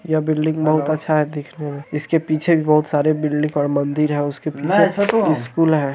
यह बिल्डिंग बहुत अच्छा है देखने में| इसके पीछे एक बहुत सारे बिल्डिंग और मंदिर है उसके पीछे एक स्कूल है ।